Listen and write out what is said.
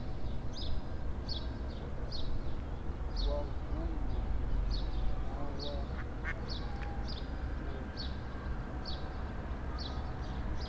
wa vunḓu na wapo dplg